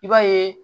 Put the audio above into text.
I b'a ye